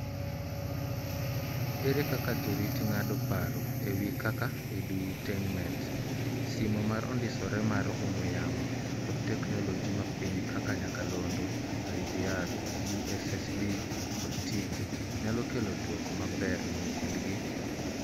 Ere kaka jorit ng'ado paro ewi kaka Edutainmet, simo ma ondisore mar ong'we yamo, kod technologi ma piny kaka nyakalondo, IVR , USSD kod TV ,nyalo kelo dwoko maber ni nyithindgi?